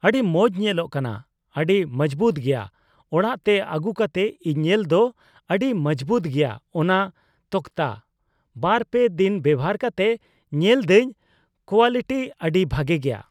ᱟᱹᱰᱤ ᱢᱚᱸᱡ ᱧᱮᱞᱚᱜ ᱠᱟᱱᱟ ᱾ ᱟᱹᱰᱤ ᱢᱚᱸᱡᱵᱩᱛ ᱜᱮᱭᱟ ᱾ ᱚᱲᱟᱜ ᱛᱮ ᱟᱜᱩ ᱠᱟᱛᱮ ᱤᱧ ᱧᱮᱞ ᱫᱟ ᱟᱹᱰᱤ ᱢᱚᱸᱡᱵᱩᱛ ᱜᱮᱭᱟ ᱚᱱᱟ ᱛᱚᱠᱛᱟ ᱾ ᱵᱟᱨᱼᱯᱮ ᱫᱤᱱ ᱵᱮᱣᱦᱟᱨ ᱠᱟᱛᱮ ᱧᱮᱞ ᱫᱟᱹᱧ ᱠᱳᱣᱟᱞᱤᱴᱤ ᱟᱹᱰᱤ ᱵᱷᱟᱜᱮ ᱜᱮᱭᱟ ᱾